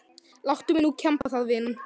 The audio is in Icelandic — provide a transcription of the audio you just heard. Láttu mig nú kemba það vinan.